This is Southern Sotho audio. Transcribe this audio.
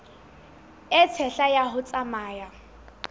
e tshehla ha o tsamaya